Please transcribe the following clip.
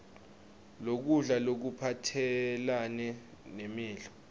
lokudla lokuphathelane nemidlo